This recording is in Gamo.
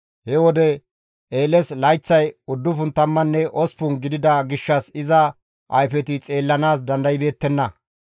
He wode Eeles layththay 98 gidida gishshas iza ayfeti xeellanaas dandaybeettenna.